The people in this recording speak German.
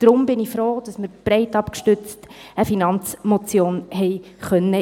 Deshalb bin ich froh, dass wir breit abgestützt eine Finanzmotion () einreichen konnten.